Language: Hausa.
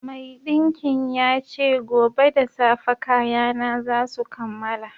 Maiɗinkin ya ce gobe da safe kayana za su kammala